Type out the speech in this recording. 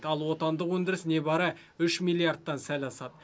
ал отандық өндіріс небәрі үш миллиардтан сәл асады